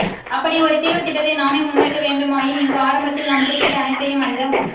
அப்படி ஒரு தீர்வுத் திட்டத்தை நாமே முன்வைக்க வேண்டுமாயின் இங்கு ஆரம்பத்தில் நாம் குறிப்பிட்ட அனைத்தையும் அந்த